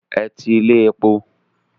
Ẹ ti ilé epo.